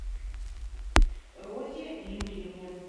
розе юрьевне